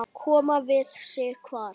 Koma við sig hvar?